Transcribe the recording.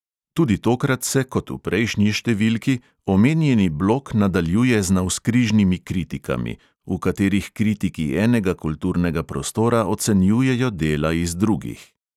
Tudi tokrat se kot v prejšnji številki omenjeni blok nadaljuje z navzkrižnimi kritikami, v katerih kritiki enega kulturnega prostora ocenjujejo dela iz drugih.